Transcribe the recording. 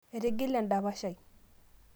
etigile endapash ai